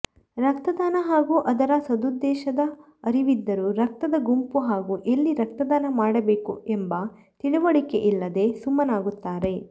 ರಕ್ತದಾನ ಹಾಗೂ ಅದರ ಸದುದ್ದೇಶದ ಅರಿವಿದ್ದರೂ ರಕ್ತದ ಗುಂಪು ಹಾಗೂ ಎಲ್ಲಿ ರಕ್ತದಾನ ಮಾಡಬೇಕು ಎಂಬ ತಿಳಿವಳಿಕೆಯಿಲ್ಲದೆ ಸುಮ್ಮನಾಗುತ್ತಾರೆ